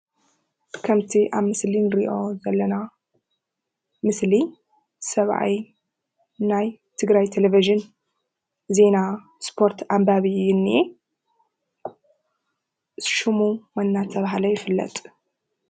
ከምቲ ኣብ ምስሊ እንሪኦ ዘለና ምስሊ ሰብኣይ ናይ ትግራይ ቴሊቪዥን ዜና ስፖርት ኣንባቢ እዩ ዝንሄ። ሽሙ መን እንዳተብሃለ ይፍለጥ?